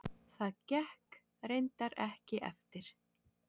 Það gekk reyndar ekki eftir.